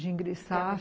De ingressar.